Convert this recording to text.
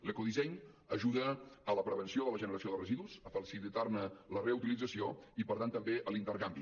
l’ecodisseny ajuda a la prevenció de la generació de residus a facilitar ne la reutilització i per tant també a l’intercanvi